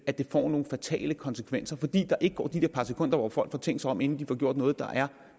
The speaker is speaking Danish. at det får nogle fatale konsekvenser fordi der ikke går de der par sekunder hvor folk får tænkt sig om inden de får gjort noget der